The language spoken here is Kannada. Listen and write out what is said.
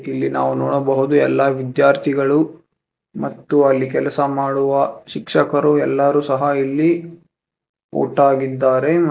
ಇಲ್ಲಿ ನಾವು ನೋಡಬಹುದು ಎಲ್ಲಾ ವಿಧ್ಯಾರ್ಥಿಗಳು ಮತ್ತು ಅಲ್ಲಿ ಕೆಲಸ ಮಾಡುವ ಶಿಕ್ಷಕರು ಎಲ್ಲಾರು ಸಹ ಇಲ್ಲಿ ಒಟ್ಟಾಗಿದ್ದಾರೆ ಮ--